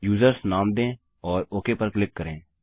users नाम दें और ओक पर क्लिक करें